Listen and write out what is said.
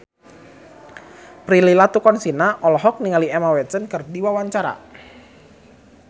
Prilly Latuconsina olohok ningali Emma Watson keur diwawancara